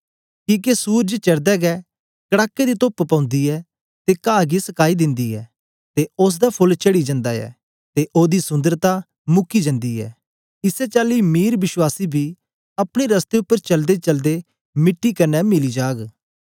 किके सूरज चढ़दे गै कड़ाके दी तोप्प पौंदी ऐ ते काह गी सकाई दिंदी ऐ ते ओसदा फोल्ल चढ़ी जंदा ऐ ते ओदी सुन्दरता मुकी जन्दी ऐ इसै चाली मीर विश्वासी बी अपने रस्ते उपर चलदेचलदे मिट्टी कन्ने मिली जाग